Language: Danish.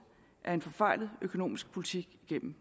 af en forfejlet økonomisk politik gennem